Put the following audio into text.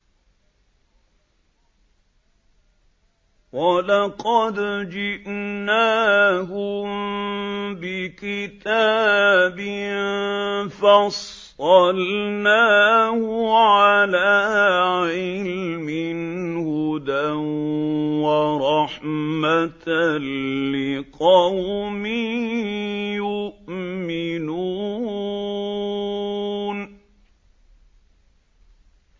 وَلَقَدْ جِئْنَاهُم بِكِتَابٍ فَصَّلْنَاهُ عَلَىٰ عِلْمٍ هُدًى وَرَحْمَةً لِّقَوْمٍ يُؤْمِنُونَ